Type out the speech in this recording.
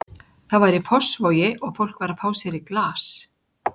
Það var í Fossvogi og fólk var að fá sér í glas.